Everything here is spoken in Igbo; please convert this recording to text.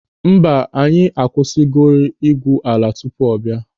Mba, anyị akwụsịgori ị́gwụ́ ala tupu ọ bịa.